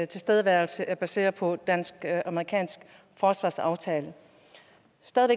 tilstedeværelse er baseret på en dansk amerikansk forsvarsaftale